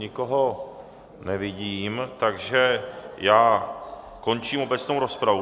Nikoho nevidím, takže já končím obecnou rozpravu.